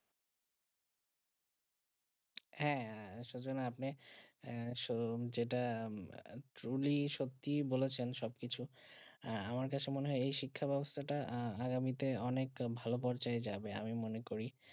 হেঁ সুজন আপনি আহ যেটা truly সত্যি বলেছেন সব কিছু আমার কাছে মনে হয়ে যেই শিক্ষা ব্যবস্থা আগামী তে অনেক ভালো পড়ছে যাবে আমি মনে করি